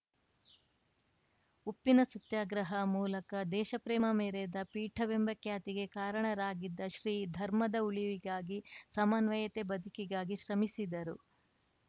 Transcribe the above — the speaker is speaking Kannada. ಉಪ್ಪಿನ ಸತ್ಯಾಗ್ರಹ ಮೂಲಕ ದೇಶ ಪ್ರೇಮ ಮೆರೆದ ಪೀಠವೆಂಬ ಖ್ಯಾತಿಗೆ ಕಾರಣರಾಗಿದ್ದ ಶ್ರೀ ಧರ್ಮದ ಉಳಿವಿಗಾಗಿ ಸಮನ್ವಯತೆ ಬದುಕಿಗಾಗಿ ಶ್ರಮಿಸಿದರು